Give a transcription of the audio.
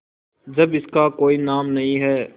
जब इसका कोई नाम नहीं है